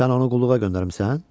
Sən onu qulluğa göndərmisən?